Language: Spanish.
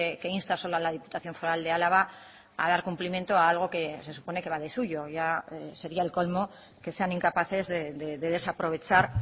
que insta solo a la diputación foral de álava a dar cumplimiento a algo que se supone que va de suyo ya sería el colmo que sean incapaces de desaprovechar